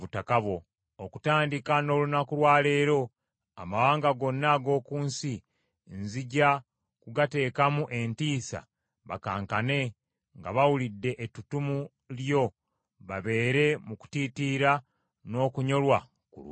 Okutandika n’olunaku lwa leero amawanga gonna ag’oku nsi nzija kugateekamu entiisa bakankane nga bawulidde ettutumu lyo babeere mu kutiitiira n’okunyolwa ku lulwo.”